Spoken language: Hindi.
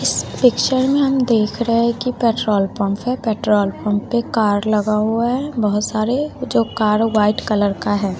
इस पिक्चर में हम देख रहे है कि पेट्रोल पंप है पेट्रोल पंप पे कार लगा हुआ है बहोत सारे जो कार व्हाइट कलर का है।